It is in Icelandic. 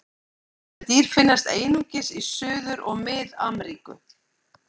Þessi dýr finnast einungis í Suður- og Mið-Ameríku.